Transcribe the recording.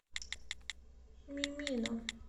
мимино